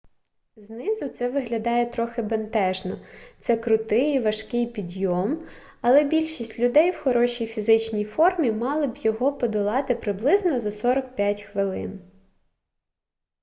знизу це виглядає трохи бентежно це крутий і важкий підйом але більшість людей в хорошій фізичній формі мали б його подолати приблизно за 45 хвилин